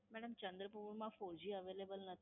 Madam, ચન્દ્રપુરમા Four G Available નથી.